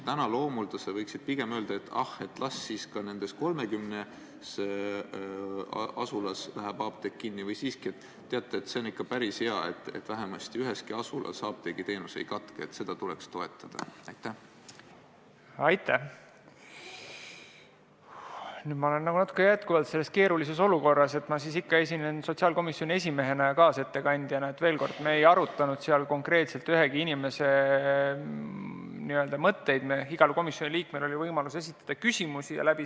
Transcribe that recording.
Sõna saavad vaid fraktsioonide esindajad.